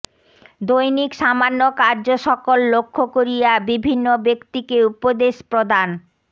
দৈনিক সামান্য কার্যসকল লক্ষ্য করিয়া বিভিন্ন ব্যক্তিকে উপদেশ প্রদান